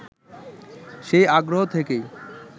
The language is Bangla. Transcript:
সেই আগ্রহ থেকেই